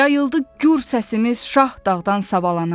Yayıldı gür səsimiz şah dağdan savalana.